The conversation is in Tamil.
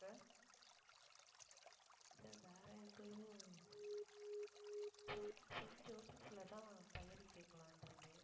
இல்லை வேற எங்கேயும் செயின்~ செயின்ட் ஜோசப்லதான் பையனைக் கேட்கலாம்ன்ட்டு இருந்தேன்